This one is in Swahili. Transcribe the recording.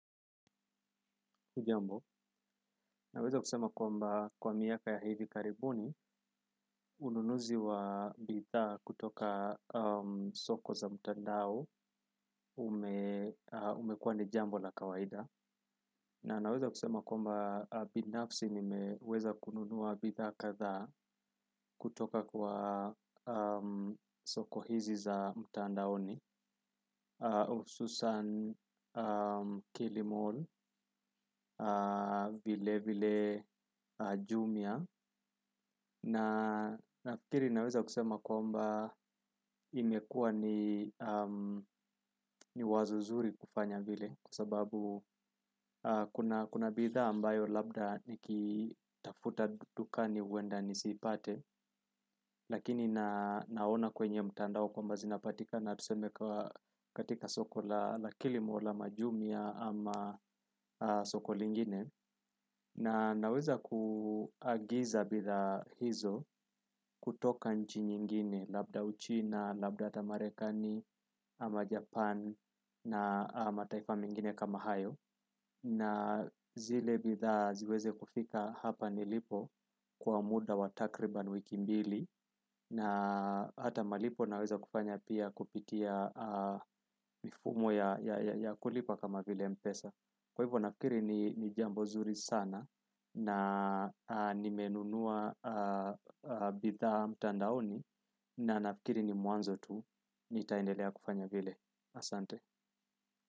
Naweza kusema kwamba kwa miaka ya hivi karibuni ununuzi wa bidhaa kutoka soko za mtandao ume umekuwa ni jambo la kawaida. Na naweza kusema kwamba binafsi nimeweza kununua bidhaa kadhaa kutoka kwa soko hizi za mtandaoni hususan kilimall vile vile Jumia. Nafikiri naweza kusema kwamba imekuwa ni wazo nzuri kufanya vile kwa sababu kuna bidhaa ambayo labda nikitafuta dukani huenda nisipate lakini naona kwenye mtandao kwamba zinapatikana tuseme katika soko la kilimall ama Jumia ama soko lingine na naweza kuagiza bidhaa hizo kutoka nchi nyingine labda Uchina labda hata Marekani ama Japan na mataifa mengine kama hayo na zile bidhaa ziweze kufika hapa nilipo kwa muda wa takriban wiki mbili na hata malipo naweza kufanya pia kupitia mifumo ya kulipa kama vile mpesa. Kwa hivyo nafikiri ni jambo nzuri sana na nimenunua bidhaa mtandaoni na nafikiri ni mwanzo tu. Nitaendelea kufanya vile, asante.